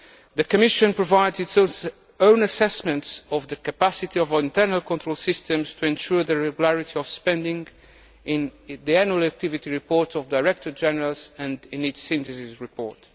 The Commission provides its own assessments of the capacity of internal control systems to ensure the regularity of spending in the annual activity reports of the Directorates General and in its Synthesis report.